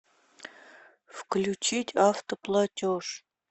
включить автоплатеж